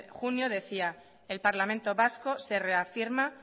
junio decía el parlamento vasco se reafirma